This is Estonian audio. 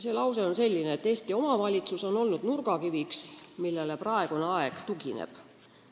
See lause on selline: "Eesti omavalitsus on olnud nurgakiviks, millele praegune aeg tugineb.